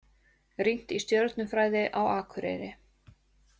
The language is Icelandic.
Rýnt í stjörnufræði á Akureyri